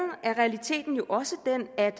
er realiteten jo også den at